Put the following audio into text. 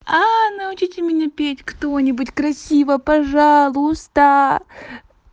научите меня петь кто-нибудь красиво пожалуйста